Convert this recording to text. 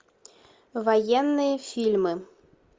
военные фильмы